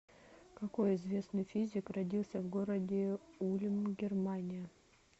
какой известный физик родился в городе ульм германия